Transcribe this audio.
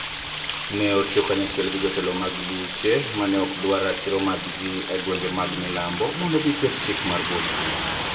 Ne otiyo kanyachiel gi jotelo mag buche ma ne ok dwar ratiro mag ji e gwenge mag milambo mondo giket chik mar buono ji.